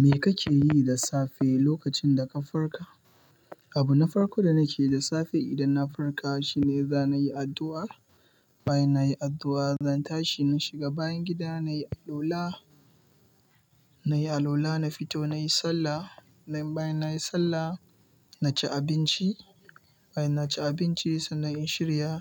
Me kake yi da safe lokacin da ka farka? Abu na farko da nake yi da safe idan na farka shine zana yi addu'a. Bayan na yi addu'a, zan tashi na shiga bayan gida na yi allula. Na yi allula, na fito na yi sallah. Nan bayan na yi sallah, na ci abinci. Bayan na ci abinci, sannan in shirya